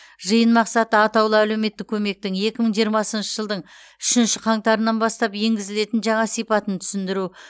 жиын мақсаты атаулы әлеуметтік көмектің екі мың жиырмасыншы жылдың үшінші қаңтарынан бастап енгізілетін жаңа сипатын түсіндіру